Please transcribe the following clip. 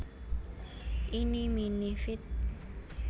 Eenie Meenie feat